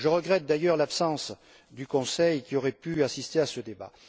Je regrette, d'ailleurs, l'absence du Conseil, qui aurait pu assister à ce débat.